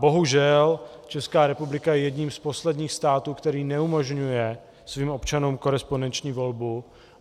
Bohužel Česká republika je jedním z posledních států, který neumožňuje svým občanům korespondenční volbu.